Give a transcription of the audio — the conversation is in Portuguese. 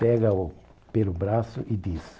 Pega-o pelo braço e diz.